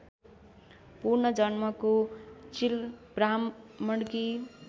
पूर्वजन्मको चिल ब्राह्मणकी